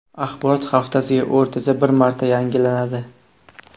Axborot haftasiga o‘rtacha bir marta yangilanadi.